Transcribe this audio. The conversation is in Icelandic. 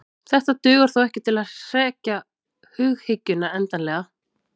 Þetta dugar þó ekki til að hrekja hughyggjuna endanlega.